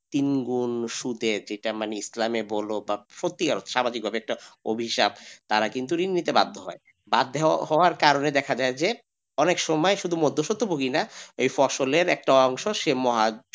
তিনগুণ সুদের যেটা মানে ইসলামের বল বা সত্যিকরে স্বাভাবিকভাবে একটা অভিশাপ তারা কিন্তু ঋণ নিতে বাধ্য হয় বাধ্য হওয়ার কারণে দেখা যায় যে অনেক সময় শুধু মধ্যসত্ত্ব ভোগী না এই ফসলের একটা অংশ সেই মহাজন,